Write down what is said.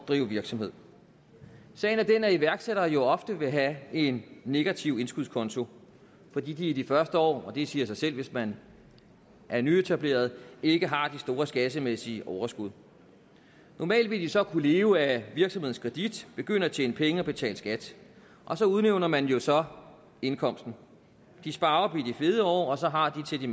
drive virksomhed sagen er den at iværksættere jo ofte vil have en negativ indskudskonto fordi de i de første år og det siger sig selv hvis man er nyetableret ikke har de store skattemæssige overskud normalt vil de så kunne leve af virksomhedens kredit begynde at tjene penge og betale skat og så udjævner man jo så indkomsten de sparer op i de fede år og så har de til de